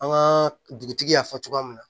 An ka dugutigi y'a fɔ cogoya min na